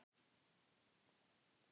Ég er ekki tilbúinn að fara alveg strax.